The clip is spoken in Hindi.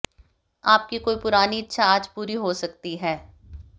आपकी कोई पूरानी इच्छा आज पूरी हो सकती है